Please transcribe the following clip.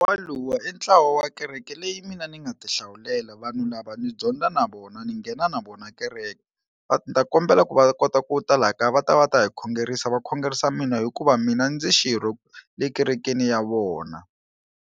Walowo i ntlawa wa kereke leyi mina ni nga ti hlawulela vanhu lava ni dyondza na vona ni nghena na vona kereke, va ni ta kombela ku va kota ku ta laha kaya va ta va ta hi khongerisa va khongerisa mina hikuva mina ndzi xirho le kerekeni ya vona.